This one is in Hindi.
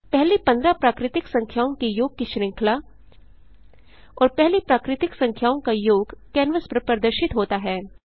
पहली 15 प्राकृतिक संख्याओं के योग की श्रृंखला और पहली प्राकृतिक संख्याओं का योग कैनवास पर प्रदर्शित होता है